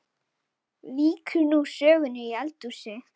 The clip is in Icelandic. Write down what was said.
Víkur nú sögunni í eldhús.